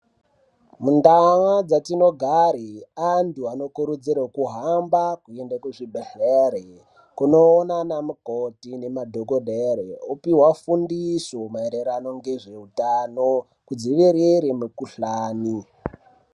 Muntaa dzatinogare, antu anokurudzirwe kuhamba kuende kuzvibhedhlere, kunoona anamukoti nemadhokodhere ,opihwa fundiso maererano ngezveutano , kudzivirire mikhuhlani.